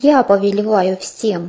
я повелеваю всем